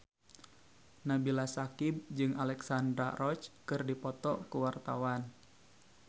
Nabila Syakieb jeung Alexandra Roach keur dipoto ku wartawan